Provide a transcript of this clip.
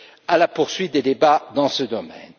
à la poursuite des débats dans ce domaine.